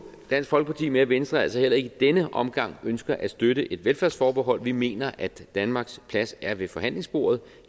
dansk folkeparti med at venstre altså heller ikke i denne omgang ønsker at støtte et velfærdsforbehold vi mener at danmarks plads er ved forhandlingsbordet